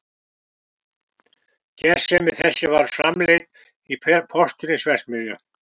Gersemi þessi var framleidd í postulínsverksmiðju